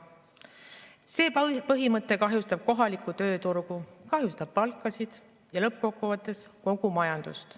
See põhimõte kahjustab kohalikku tööturgu, kahjustab palkasid ja lõppkokkuvõttes kogu majandust.